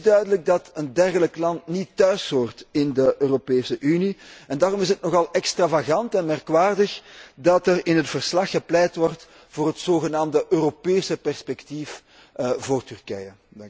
Het is duidelijk dat een dergelijk land niet thuishoort in de Europese Unie, en daarom is het nogal extravagant en merkwaardig dat er in het verslag gepleit wordt voor het zogenaamde Europese perspectief voor Turkije.